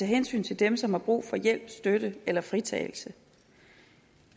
hensyn til dem som har brug for hjælp støtte eller fritagelse